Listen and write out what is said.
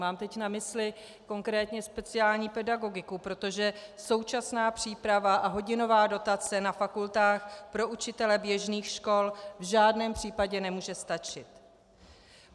Mám teď na mysli konkrétně speciální pedagogiku, protože současná příprava a hodinová dotace na fakultách pro učitele běžných škol v žádném případě nemůže stačit.